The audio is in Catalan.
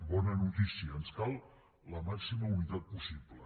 bona notícia ens cal la màxima unitat possible